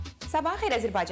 Sabahınız xeyir, Azərbaycan.